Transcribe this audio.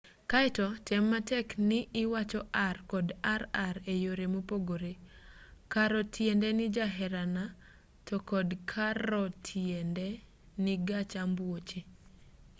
kaeto tem matek ni iwacho r kod rr e yore mopogore caro tiende ni jaherana to carro tiende ni gach ambuoche